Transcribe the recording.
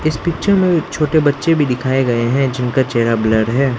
इस पिक्चर में छोटे बच्चे भी दिखाए गए हैं जिनका चेहरा ब्लर्र है।